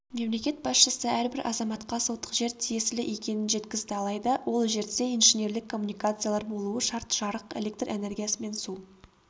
мемлекет басшысы әрбір азаматқа сотық жер тиесілі екенін жеткізді алайда ол жерде инженерлік коммуникациялар болуы шарт жарық электр энергиясы мен су